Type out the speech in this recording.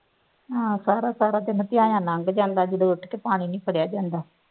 ਹਾਂ ਸਾਰਾ ਸਾਰਾ ਦਿਨ ਥਿਆਇਆਂ ਲੰਘ ਜਾਂਦਾ ਜਦੋਂ ਉੱਠ ਕੇ ਪਾਣੀ ਨਹੀਂ ਭਰਿਆ ਜਾਂਦਾ